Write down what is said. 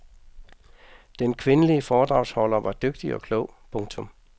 Den kvindelige foredragsholder var dygtig og klog. punktum